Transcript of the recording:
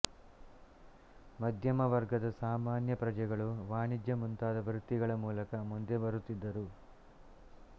ಮಧ್ಯಮ ವರ್ಗದ ಸಾಮಾನ್ಯ ಪ್ರಜೆಗಳು ವಾಣಿಜ್ಯ ಮುಂತಾದ ವೃತ್ತಿಗಳ ಮೂಲಕ ಮುಂದೆ ಬರುತ್ತಿದ್ದರು